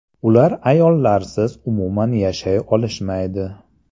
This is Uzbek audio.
Ular ayollarsiz umuman yashay olishmaydi!